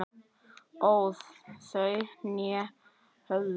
óð þau né höfðu